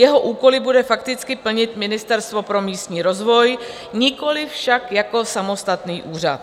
Jeho úkoly bude fakticky plnit Ministerstvo pro místní rozvoj, nikoliv však jako samostatný úřad.